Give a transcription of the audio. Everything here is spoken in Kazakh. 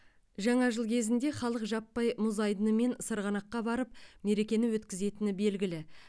жаңа жыл кезінде халық жаппай мұз айдын мен сырғанаққа барып мерекені өткізетіні белгілі